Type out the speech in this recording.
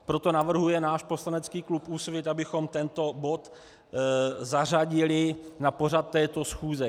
Proto navrhuje náš poslanecký klub Úsvit, abychom tento bod zařadili na pořad této schůze.